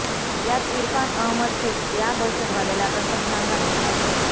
यात इरफान अहमद शेख या दहशतवाद्याला कंठस्नान घालण्यात आले